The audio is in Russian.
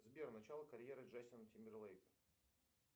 сбер начало карьеры джастина тимберлейка